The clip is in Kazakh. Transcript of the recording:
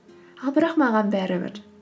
ал бірақ маған бәрібір